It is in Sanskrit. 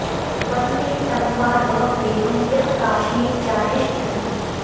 वन्दे तं मा धवं देवं यः का शीं चाधिष्ठति